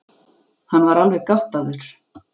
Hann var alveg gáttaður.